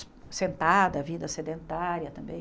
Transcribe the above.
Sentada, a vida sedentária também.